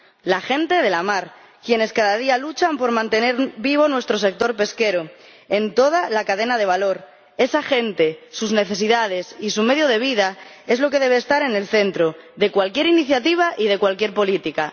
La gente de la mar, quienes cada día luchan por mantener vivo nuestro sector pesquero en toda la cadena de valor, esa gente, sus necesidades y su medio de vida es lo que debe estar en el centro de cualquier iniciativa y de cualquier política.